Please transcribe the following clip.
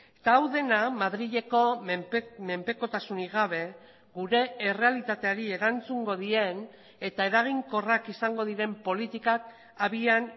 eta hau dena madrileko menpekotasunik gabe gure errealitateari erantzungo dien eta eraginkorrak izango diren politikak abian